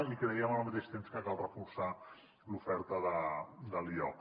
i creiem al mateix temps que cal reforçar l’oferta de l’ioc